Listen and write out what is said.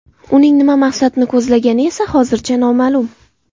Uning nima maqsadni ko‘zlagani esa hozircha noma’lum.